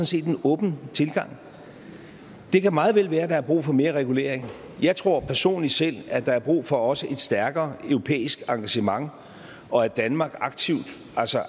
set en åben tilgang og det kan meget vel være at der er brug for mere regulering jeg tror personligt selv at der er brug for også et stærkere europæisk engagement og at danmark aktivt